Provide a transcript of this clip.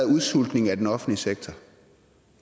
udsultning af den offentlige sektor